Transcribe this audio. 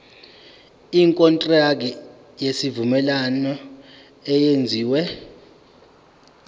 ikontraki yesivumelwano eyenziwe